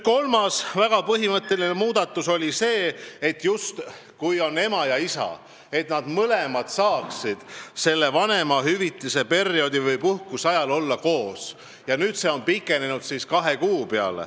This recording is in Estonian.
Kolmas väga põhimõtteline muudatus oli see, et ema ja isa saaksid selle vanemahüvitise perioodi või puhkuse ajal koos kodus olla ja nüüd on see aeg pikenenud kahe kuuni.